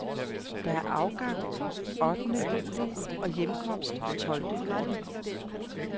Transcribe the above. Der er afgang ottende juli og hjemkomst tolvte juli.